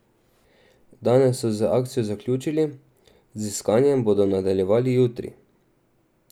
Danes so z akcijo zaključili, z iskanjem bodo nadaljevali jutri.